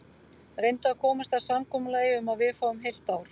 Reyndu að komast að samkomulagi um að við fáum heilt ár.